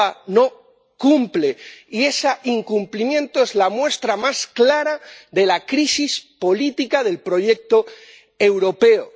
Europa no cumple, y ese incumplimiento es la muestra más clara de la crisis política del proyecto europeo.